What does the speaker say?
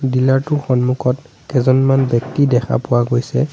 Dealer টোৰ সন্মুখত কেজনমান ব্যক্তি দেখা পোৱা গৈছে।